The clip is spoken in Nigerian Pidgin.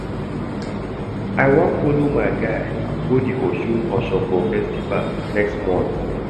I wan folo my guy go di Osun Osogbo festival next month.